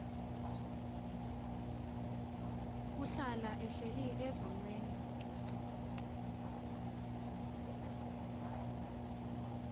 ohlala ehleli ezonweni